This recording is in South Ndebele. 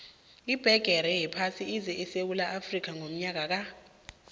ibhigiri yephasi ize esewula afrika ngonyaka ka